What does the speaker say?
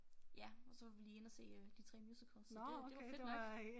Ja og så var vi lige inde og se øh de 3 musicals så det det var fedt nok